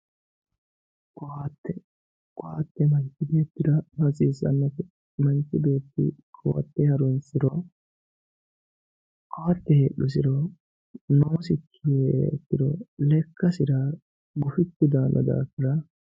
koatte koatte manchi beettira hasiissannote manchi beetti koatte horonsiranno koatte heedhusiro noosiri heeriha ikkirolekkasi gufichu daanno daafira ....